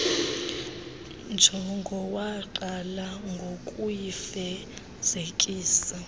njongo waqala ngokuyifezekisa